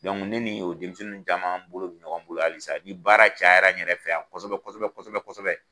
ni nin y'o denmisɛnnin caman bolo bi ɲɔgɔn bolo halisa ni baara cayara n yɛrɛ fɛ yan kosɛbɛ kosɛbɛ kosɛbɛ